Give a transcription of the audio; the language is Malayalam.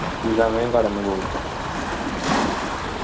ഈ സമയവും കടന്ന് പോകും